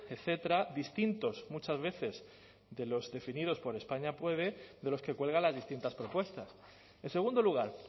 etcétera distintos muchas veces de los definidos por españa puede de los que cuelgan las distintas propuestas en segundo lugar